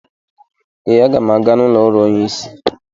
Ee, a ga m aga n'ụlọ ọrụ onye isi